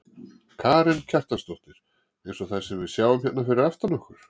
Karen Kjartansdóttir: Eins og þær sem við sjáum hérna fyrir aftan okkur?